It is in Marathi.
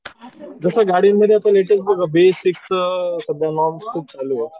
जसं गाड्यांमध्ये लेटेस्ट बघ बेसिक सध्या खूप चालू आहे.